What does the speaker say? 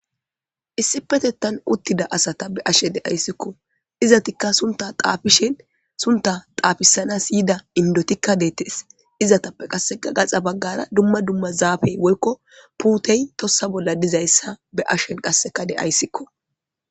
Issipetettan uttida asata be7ashe de7ayssikko. Izatikka suntta xaafishin suntta xaafisanas yida indotikka deettes. Izatappe qasse gaxa baggara dumma dumma zaafey woykko puutey tossa bolla dizayssa be7ashen qasseka de7ayssikko.